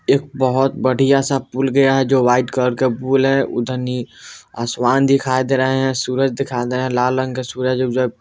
एक बहोत बढ़िया सा पुल गया है जो व्हाइट कलर का पुल है उधर नि आसमान दिखाई दे रहा है सूरज दिखाई दे रहा है लाल रंग के सूरज --